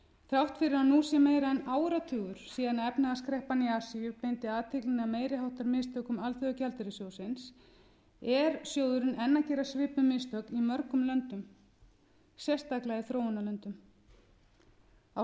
þrátt fyrir að nú sé meira en áratugur síðan efnahagskreppan í asíu beindi athyglinni að meiri háttar mistökum alþjóðagjaldeyrissjóðsins er sjóðurinn enn að gera svipuð mistök í mörgum löndum sérstaklega í þróunarlöndunum á